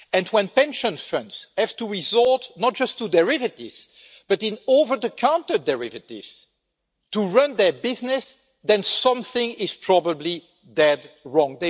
When pension funds have to resort not only to derivatives, but to over the counter derivatives to run their business, then something is probably badly wrong.